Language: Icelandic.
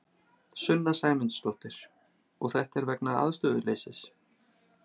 Sunna Sæmundsdóttir: Og þetta er vegna aðstöðuleysis?